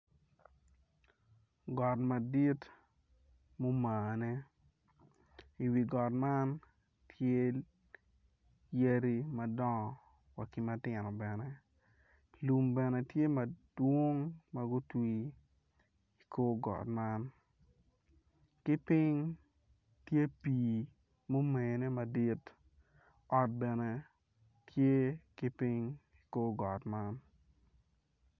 Got madit mumane, iwi got man tye yadi madongo wa ki matino bene lum bene tye madwong ma gutwi ikor got man ki piny tye pii mumene madit ot bene tye ki piny ikor got man